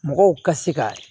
Mɔgɔw ka se ka